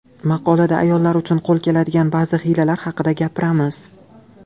Maqolada ayollar uchun qo‘l keladigan ba’zi hiylalar haqida gapiramiz.